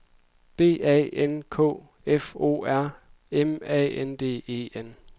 B A N K F O R M A N D E N